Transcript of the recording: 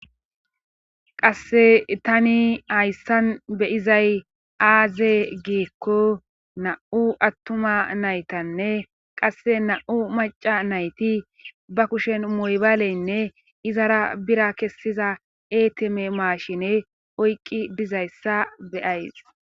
Qasse tani hayssan beyizay aaze giikko na7u attuma naytanne qasse na7u maca nayti ba kushen moybaleynne izara bira kessiza eeteme maashine oyqqi dizayssa beyays